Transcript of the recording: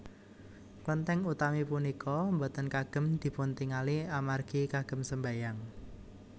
Klentèng utami punika boten kagem dipuntingali amargi kagem sembahyang